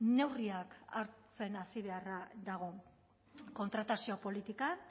neurriak hartzen hasi beharra dago kontratazio politikan